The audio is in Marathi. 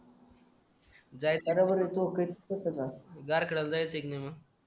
जायचा का बर कोकण कशाला काढायला जायचे की मना